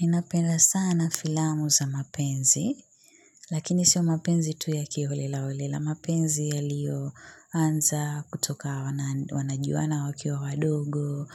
Ninapenda sana filamu za mapenzi, lakini sio mapenzi tu ya kiholela holela, mapenzi yaliyo anza kutoka wanajuana wakiwa wadogo,